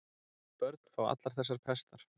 Börn fá allar þessar pestar.